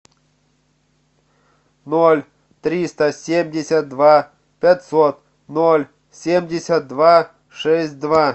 ноль триста семьдесят два пятьсот ноль семьдесят два шесть два